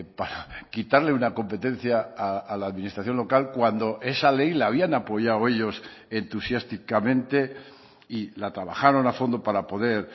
para quitarle una competencia a la administración local cuando esa ley la habían apoyado ellos entusiásticamente y la trabajaron a fondo para poder